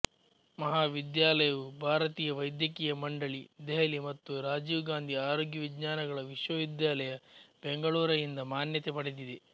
ಮಹಾವಿದ್ಯಾಲಯವು ಭಾರತೀಯ ವೈದ್ಯಕೀಯ ಮಂಡಳಿ ದೆಹಲಿ ಮತ್ತು ರಾಜೀವ್ ಗಾಂಧಿ ಆರೋಗ್ಯ ವಿಜ್ಞಾನಗಳ ವಿಶ್ವವಿದ್ಯಾಲಯ ಬೆಂಗಳೂರಯಿಂದ ಮಾನ್ಯತೆ ಪಡೆದಿದೆ